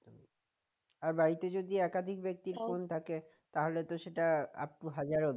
আর বাড়িতে যদি একাধিক ব্যক্তির থাকে তাহলে তো সেটা আপ তো হাজার অবধি